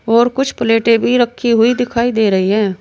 और कुछ प्लेटें भी रखी हुई दिखाई दे रही है।